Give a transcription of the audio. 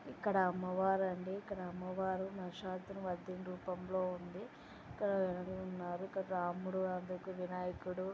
ఇక్కడ అమ్మవారండి. అమ్మవారు మహిషాసుర మర్దిని రూపంలో ఉంది. అక్కడ ఉన్నారు. రాముడు ఆ పక్కన వినాయకుడు.